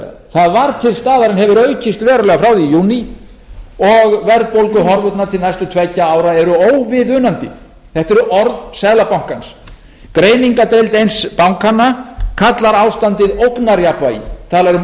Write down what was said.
það var til staðar en hefur aukist verulega frá því í júní og verðbólguhorfurnar til næstu tveggja ára eru óviðunandi þetta er orð seðlabankans greiningardeild eins bankanna kallar ástandið ógnarjafnvægi talar um